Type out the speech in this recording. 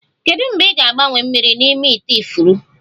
Kedu mgbe ị ga-agbanwe mmiri n'ime ite ifuru?